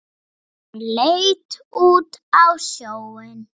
Hann leit út á sjóinn.